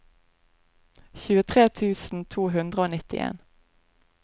tjuetre tusen to hundre og nittien